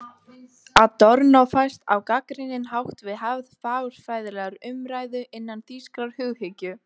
Adorno fæst á gagnrýninn hátt við hefð fagurfræðilegrar umræðu innan þýskrar hughyggju.